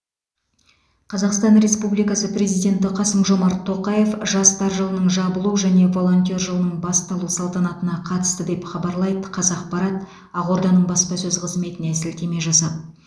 қазақстан республикасы президенті қасым жомарт тоқаев жастар жылының жабылу және волонтер жылының басталу салтанатына қатысты деп хабарлайды қазақпарат ақорданың баспасөз қызметіне сілтеме жасап